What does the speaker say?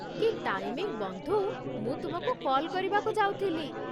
କି ଟାଇମିଙ୍ଗ୍ ବନ୍ଧୁ, ମୁଁ ତୁମକୁ କଲ୍ କରିବାକୁ ଯାଉଥିଲି।